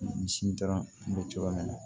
Misi taara bɛ cogoya min na